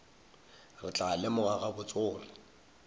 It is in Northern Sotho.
re tla lemoga gabotse gore